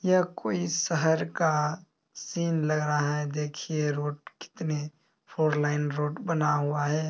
यह कोई शहर का सीन लग रहा है देखिए रोड कितने फोर लाइन रोड बना हुआ है।